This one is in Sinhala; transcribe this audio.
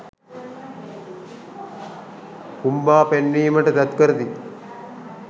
පුම්බා පෙන්වීමට තැත් කරති